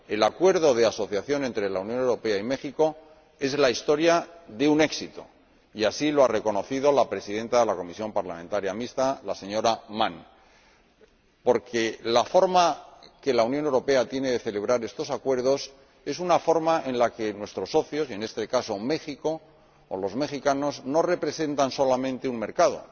El Acuerdo de asociación entre la Unión Europea y México es la historia de un éxito —y así lo ha reconocido la presidenta de la Comisión Parlamentaria Mixta, la señora Mann— porque la forma en que la Unión Europea celebra estos acuerdos es una forma en la que nuestros socios, en este caso México o los mexicanos, no representan solamente un mercado,